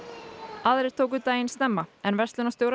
aðrir tóku þó daginn snemma en verslunarstjórar